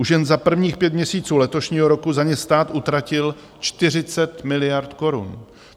Už jen za prvních pět měsíců letošního roku za ně stát utratil 40 miliard korun.